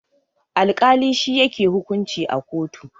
Alkali shi yake hukunci a kotu.